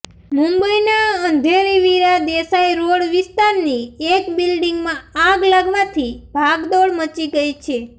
મુંબઈના અંધેરી વીરા દેસાઈ રોડ વિસ્તારની એક બિલ્ડિંગમાં આગ લાગવાથી ભાગદોડ મચી ગઈ છે